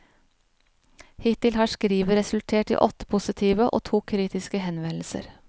Hittil har skrivet resultert i åtte positive og to kritiske henvendelser.